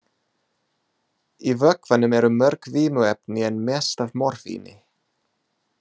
Í vökvanum eru mörg vímuefni en mest af morfíni.